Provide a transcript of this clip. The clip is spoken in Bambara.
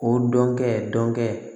O dɔnkɛ dɔnkɛ